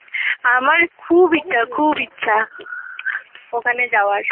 আমার খুব ইচ্ছা খুব ইচ্ছা ওখানে যাওয়ার